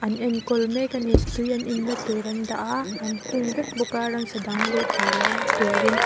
an enkawl mek ani tui an in na tur an dah a an hung vek bawk a ramsa dang luh theihloh na turin--